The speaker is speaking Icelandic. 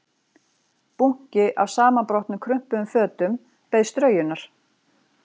Bunki af samanbrotnum krumpuðum fötum beið straujunar